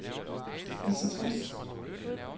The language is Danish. Lizzi Voss